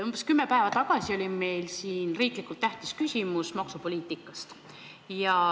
Umbes kümme päeva tagasi oli meil siin riiklikult tähtsa küsimusena arutelul maksupoliitika.